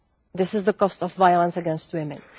This is the cost of violence against women.